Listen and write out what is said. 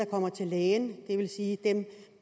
kommer til lægen det vil sige